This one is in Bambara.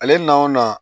Ale nanw na